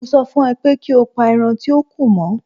Mo sọ fún ọ pé ki pa ẹran tíó kù mọ́.